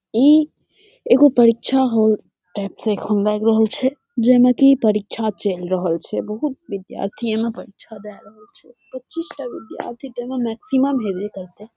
ई एगो परीक्षा hall type से लग रहल छे जेई में की परीक्षा चल रहल छे। बहुत विद्यार्थी यहाँ परीक्षा दे रहल छे। पचीस टा विद्यार्थी ते में मैक्सिमम हेवे करते।